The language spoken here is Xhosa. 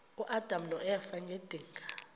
uadam noeva ngedinga